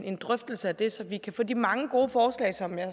en drøftelse af det så vi kan få sat de mange gode forslag som jeg